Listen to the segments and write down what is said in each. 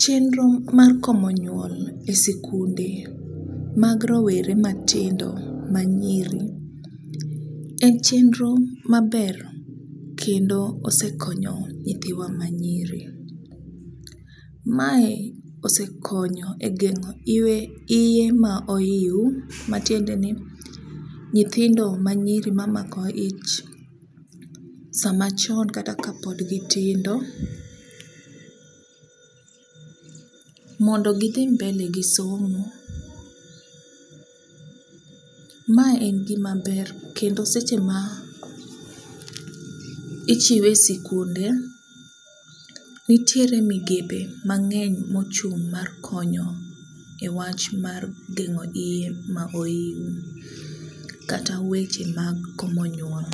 chenro mar komo nyuol e sikunde mag rowere matindo manyiri en chenro maber kendo osekonyo nyithiwa manyiri. Mae osekonyo e geng'o iye ma oiw matiende ni nyithindo manyiri mamako ich sama chon kata kapod gitindo, mondo gidhi mbele gi somo. Mae en gimaber kendo seche ma ichiwe e sikunde, nitiere migepe mang'eny mochung' mar konyo e wach mar geng'o iye ma oiw kata weche mag komo nyuol.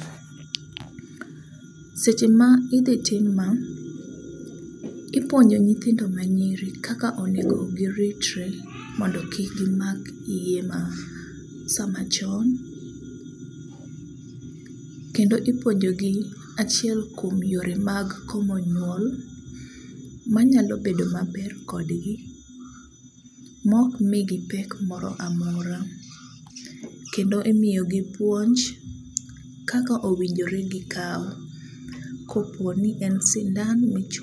Seche ma idhi tim ma, ipuonjo nyithindo manyiri kaka onego giritre mondo kik gimak iye ma samachon, kendo ipuonjogi achiel kuom yore mag komo nyuol manyalo bedo maber kodgi mokmigi pek moramora kendo imigi puonj kaka owinjore gikaw koponi en sindan michuoyo.